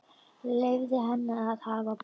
Leyfði henni að hafa pokann.